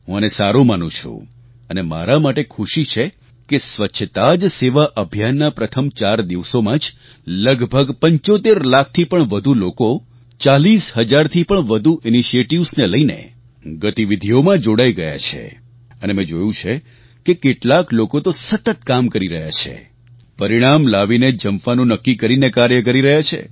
હું આને સારું માનું છું અને મારા માટે ખુશી છે કે સ્વચ્છતા જ સેવા અભિયાનના પ્રથમ ચાર દિવસોમાં જ લગભગ ૭૫ લાખથી પણ વધુ લોકો ૪૦ હજારથી વધુ ઇનિશિયેટિવ્સ ને લઈને ગતિવિધીઓમાં જોડાઈ ગયા છે અને મેં જોયું છે કે કેટલાક લોકો તો સતત કામ કરી રહ્યા છે પરિણામ લાવીને જ જંપવાનું નક્કી કરીને કાર્ય કરી રહ્યા છે